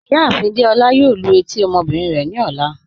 Ìyáàfin Dèolá yóò lú etí ọmọbìnrin rẹ ni ọlá.